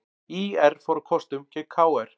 ÍR fór á kostum gegn KR